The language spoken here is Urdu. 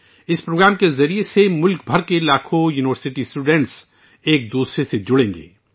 اس پروگرام کے ذریعے ملک بھر میں یونیورسٹی کے لاکھوں طلبہ ایک دوسرے سے جڑیں گے